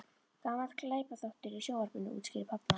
Gamall glæpaþáttur í sjónvarpinu- útskýrði pabbi hans.